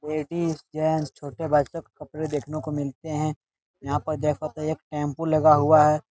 Ladies gents छोटे बच्चों के कपड़े देखने को मिलते हैं | यहाँ पर देखो तो एक टेंपो लगा हुआ है ।